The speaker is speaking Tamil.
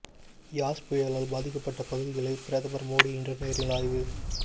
யாஸ் புயலால் பாதிக்கப்பட்ட பகுதிகளை பிரதமர் மோடி இன்று நேரில் ஆய்வு